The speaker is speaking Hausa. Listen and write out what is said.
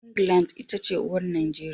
England ita ce uwar Najeriya.